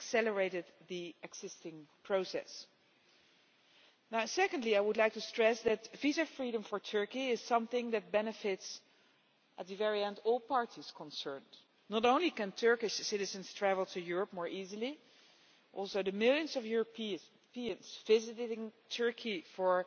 It accelerated the existing process. Secondly, I would like to stress that visa freedom for Turkey is something that benefits, at the very end, all parties concerned. Not only can Turkish citizens travel to Europe more easily, but the millions of Europeans visiting Turkey for